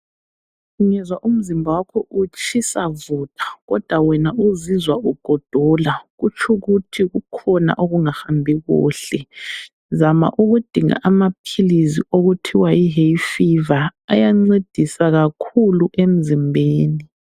Ungezwa umzimba wakho utshisa vutha kodwa wena uzizwa ugodola .Kutshukuthi kukhona okungahambi kuhle ,zama ukudinga amaphilisi okuthiwa yi hayfever ayancedisa kakhulu emzimbeni.